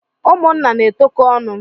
Ụmụnna na-etokọ ọnụ.